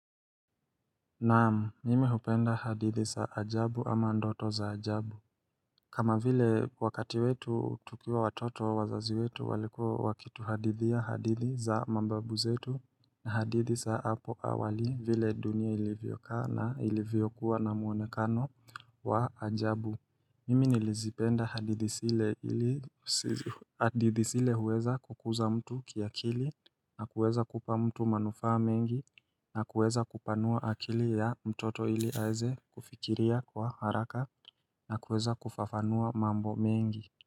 Naam, mimi hupenda hadithi za ajabu ama ndoto za ajabu kama vile wakati wetu tukiwa watoto wazazi wetu walikua wakituhadithia hadithi za mababu zetu na hadithi za apo awali vile dunia ilivyokaa na ilivyokuwa na muonekano wa ajabu Mimi nilizipenda hadithi zile ili hadithi zile huweza kukuza mtu kiakili na kuweza kupa mtu manufa mengi na kuweza kupanua akili ya mtoto ili aweze kufikiria kwa haraka na kuweza kufafanua mambo mengi.